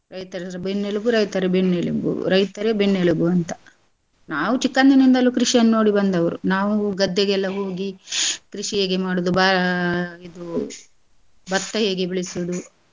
ರೈತರೇ ಬೆನ್ನೆಲುಬು, ರೈತರೇ ಬೆನ್ನೆಲುಬು, ರೈತರೇ ಬೆನ್ನೆಲುಬು ಅಂತಾ. ನಾವ್ ಚಿಕ್ಕಂದಿನಿಂದಲೂ ಕೃಷಿಯನ್ನ್ ನೋಡಿ ಬಂದವರು ನಾವು ಗದ್ದೆಗೆಲ್ಲ ಹೋಗಿ ಕೃಷಿ ಹೇಗೆ ಮಾಡುದು ಬ~ ಇದು ಭತ್ತ ಹೇಗೆ ಬೆಳೆಸುದು.